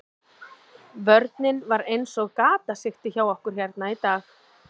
Vörnin var eins og gatasigti hjá okkur hérna í dag.